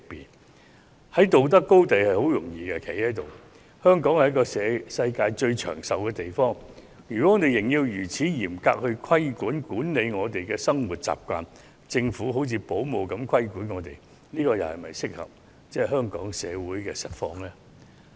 要站在道德高地是一件很容易的事情，可是，香港是全球最長壽的地方之一，如仍要作出如此嚴格的規管，管理市民的生活習慣，讓政府好像保母一般管束我們，這又是否切合香港社會的實況？